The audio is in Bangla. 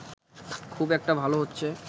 খুব একটা ভাল হচ্ছে